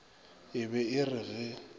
e be e re ge